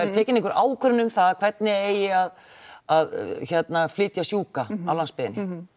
tekin einhver ákvörðun um það hvernig eigi að að flytja sjúka á landsbyggðinni